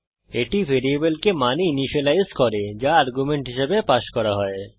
এটি ভ্যারিয়েবলকে মানে ইনিসিয়েলাইজ করে যা আর্গুমেন্ট হিসেবে পাস করা হয়